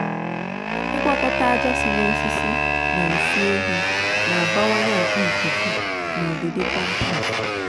ịgwakọta aja si n'osisi na nsị ehi n'abawanye akpa ikuku na udidi compost.